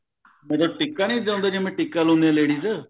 ਵੀ ਜਦੋਂ ਟਿੱਕਾ ਨੀ ਸਜਾਉਂਦੇ ਜਦੋਂ ਟਿੱਕਾ ਲਾਉਂਦੇ ਆ ladies